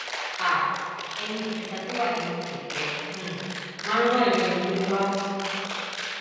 um ẹnì kẹta tó wà nínú kẹkẹ um marwa ìyẹn ẹni tó ń wá a